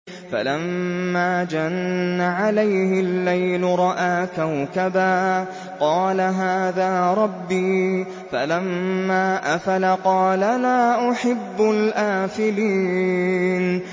فَلَمَّا جَنَّ عَلَيْهِ اللَّيْلُ رَأَىٰ كَوْكَبًا ۖ قَالَ هَٰذَا رَبِّي ۖ فَلَمَّا أَفَلَ قَالَ لَا أُحِبُّ الْآفِلِينَ